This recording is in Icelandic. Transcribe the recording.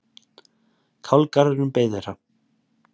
Kálgarðurinn beið þeirra.